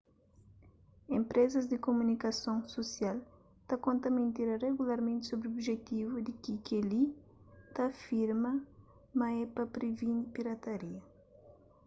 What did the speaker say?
enpresas di kumunikason susial ta konta mentira regularmenti sobri objetivu di kel-li ta afirma ma é pa previni pirataria